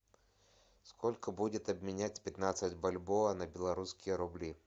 сколько будет обменять пятнадцать бальбоа на белорусские рубли